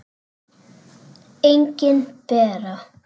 Engin Bera.